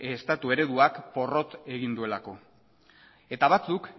estatu ereduak porrot egin duelako eta batzuk